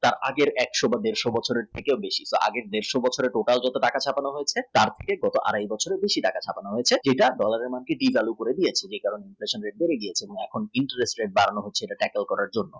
যা আগের একশ বা দেড়শ বছরের থেকে বেশি। আগের দেড়শ বছরের total যত টাকা ছাপানো হয়েছে তার থেকে গত আড়াই বছরের বেশি টাকা ছাপানো হয়েছে যেটা november মাস থেকে চালু করে দিয়েছে inflation rate কমিয়ে দিয়েছে tackle করার জন্য